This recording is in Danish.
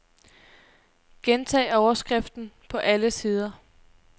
Gentag overskriften på alle sider.